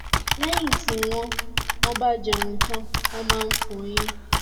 lẹyìn tí wọn wọn bá jẹun tán wọn máa ń fọyín